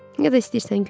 Ya da istəyirsən gül.